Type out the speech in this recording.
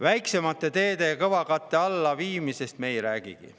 Väiksemate teede kõvakatte alla viimisest me ei räägigi.